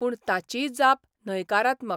पूण ताचीय जाप न्हयकारात्मक !